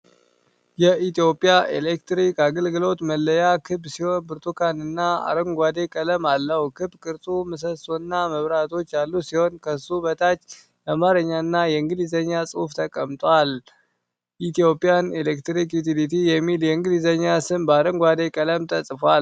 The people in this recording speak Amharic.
የኢትዮጵያ ኤሌክትሪክ አገልግሎት መለያ ክብ ሲሆን፣ ብርቱካንና አረንጓዴ ቀለም አለው። ክብ ቅርጹ ምሰሶና መብራቶች ያሉት ሲሆን፣ ከሱ በታች የአማርኛና የእንግሊዝኛ ጽሑፍ ተቀምጧል። "Ethiopian Electric Utility" የሚለው የእንግሊዝኛ ስም በአረንጓዴ ቀለም ተጽፏል።